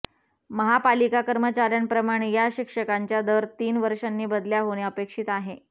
महापालिका कर्मचाऱ्यांप्रमाणे या शिक्षकांच्या दर तीन वर्षांनी बदल्या होणे अपेक्षित आहे